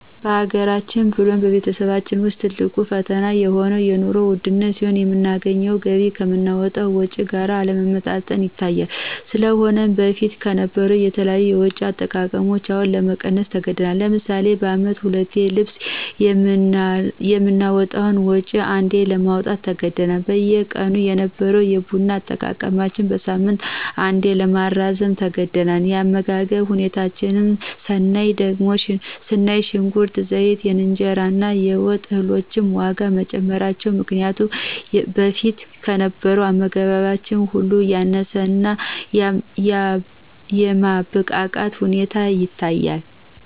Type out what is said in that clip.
በሀገራችን ብሎም በቤተሰባችን ውስጥ ትልቅ ፈተና የሆነው የንሮ ውድነት ሲሆን የምናገኘው ገቢ ከምናወጣው ወጭ ጋር አለመመጣጠን ይታያል። ስለሆነም በፊት ከነበረው የተለያዩ የወጭ አጠቃቀማችን አሁን ለመቀነስ ተገዳል። ለምሳሌ በአመት ሁለቴ ለልብስ የምናወጣውን ወጭ አንዴ ለማውጣት ተገደናል። በየቀኑ የነበረው የቡና አጠቃቀማችን በሳምንት አንዴ ለማራዘም ተገደናል። የአመጋገብ ሁኔታችን ስናይ ደግሞ ሽንኩርት፣ ዘይት፣ የእንጀራ እና የወጥ እህሎች ዋጋ በመጨመራቸው ምክንያት በፊት ከነበረው አመጋገባችን አሁን ያነሰ እና የማብቃቃት ሁኔታ ይታያል።